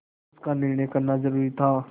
उसका निर्णय करना जरूरी था